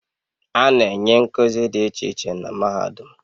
A na-enye nkuzi dị iche iche na mahadum